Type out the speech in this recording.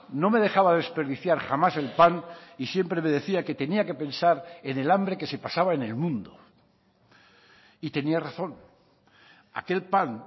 no me dejaba desperdiciar jamás el pan y siempre me decía que tenía que pensar en el hambre que se pasaba en el mundo y tenía razón aquel pan